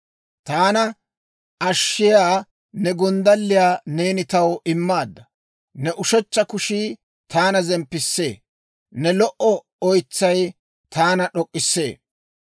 Taana ashshiyaa ne gonddalliyaa neeni taw immaadda. Ne ushechcha kushii taana zemppissee; ne lo"o oytsay taana d'ok'k'isee.